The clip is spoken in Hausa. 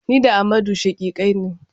Ni da Amadu shaƙiƙai ne.